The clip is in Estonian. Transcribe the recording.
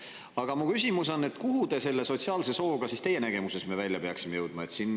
Aga mu küsimus on, kuhu me selle sotsiaalse sooga teie nägemuses välja peaksime jõudma.